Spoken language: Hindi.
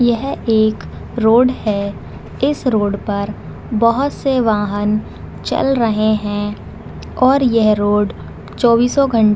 यह एक रोड है इस रोड पर बहुत से वाहन चल रहें हैं और यह रोड चौबीसों घंटे --